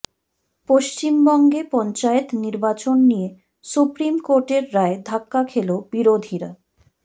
পশ্চিমবঙ্গে পঞ্চায়েত নির্বাচন নিয়ে সুপ্রিম কোর্টের রায়ে ধাক্কা খেল বিরোধীরা